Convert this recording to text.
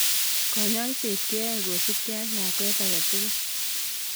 kanyoiset keyoe kosubkei ak lakwet age tugul